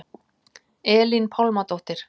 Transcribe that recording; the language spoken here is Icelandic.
Elín Pálmadóttir